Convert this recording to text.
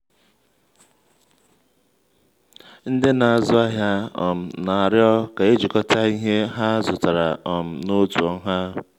ndị na-azụ ahịa um na-arịọ ka ejikọta ihe ha zụtara um n'otu nha.